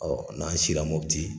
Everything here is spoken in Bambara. n'an sira Mɔputi.